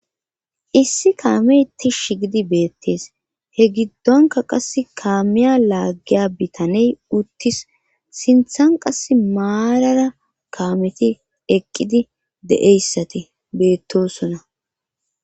Issi kaameyti shi gidi beettees he giddonka qass kaamiya laaggiya bitaney uttis sinthan qass maarara kaameti eqqidi de7eyssati beettosona